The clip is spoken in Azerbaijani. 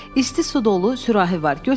İsti su dolu sürahi var.